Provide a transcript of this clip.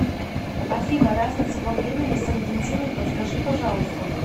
афина разница во времени с аргентиной подскажи пожалуйста